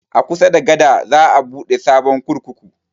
A kusa da gada za a buɗe sabon kurkuku